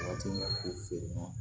Waati min na ko feere na